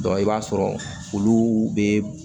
i b'a sɔrɔ olu bɛ